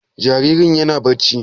Jaririn yana barci?